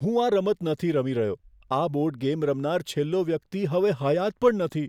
હું આ રમત નથી રમી રહ્યો. આ બોર્ડ ગેમ રમનાર છેલ્લો વ્યક્તિ હવે હયાત પણ નથી.